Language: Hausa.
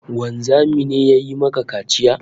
Wanzami ne ya yi maka kaciya?